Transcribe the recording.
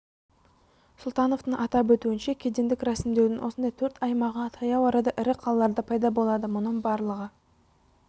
сұлтановтың атап өтуінше кедендік рәсімдеудің осындай төрт аймағы таяу арада ірі қалаларда пайда болады мұның барлығы